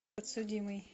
подсудимый